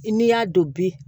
I n'i y'a don bi